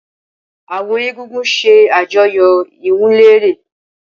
Awọn egúngún ṣe àjọyọ iwunlere.